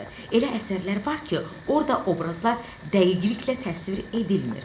Elə əsərlər var ki, orda obrazlar dəqiqliklə təsvir edilmir.